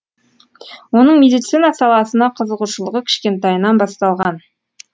оның медицина саласына қызығушылығы кішкентайынан басталған